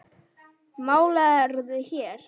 Málarðu hér?